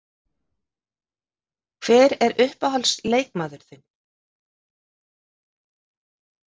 Hver er uppáhalds leikmaður þinn?